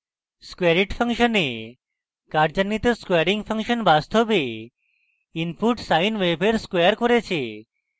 squareit ফাংশনে কার্যান্বিত squaring function বাস্তবে input sine wave squared করেছে